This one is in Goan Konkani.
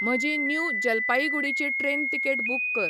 म्हजी न्यु जलपाईगुडीची ट्रेन तिकेट बूक कर